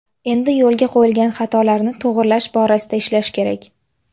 Endi yo‘lga qo‘yilgan xatolarni to‘g‘rilash borasida ishlash kerak.